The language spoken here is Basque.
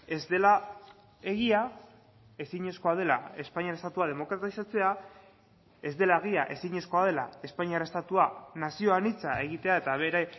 ez dela egia ezinezkoa dela espainiar estatua demokratizatzea ez dela egia ezinezkoa dela espainiar estatua nazio anitza egitea eta bere